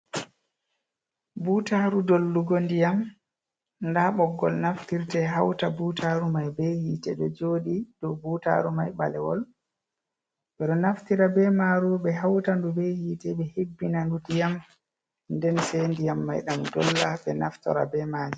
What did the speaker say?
Buutaaru dollugo ndiyam, ndaa ɓoggol naftirte hawta buutaaru mai be hiite ɗo jooɗi dow buutaaru mai, ɓalewol. Ɓe ɗo naftira be maaru ɓe hawta ndu be hiite, ɓe hebbina ndu ndiyam, nden se ndiyam mai ɗam dolla, ɓe naftora be mai.